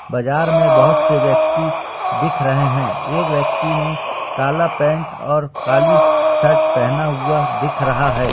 बाजार में बहोत से व्यक्ति दिख रहे है एक व्यक्ति ने काला पेंट और काली शर्ट पहना हुआ दिख रहा है।